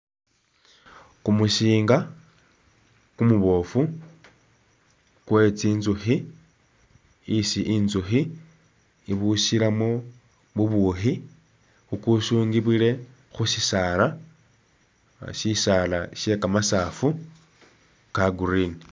Kumusiinga kumubofu kwe tsinzukhi isi inzukhi ibusilamu bubuukhi, ukusungibwile khu sisaala, sisaala sye kamasaafu ka Green.